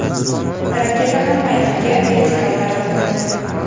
Raketa ham maydonga vertikal tarzda qo‘ndi.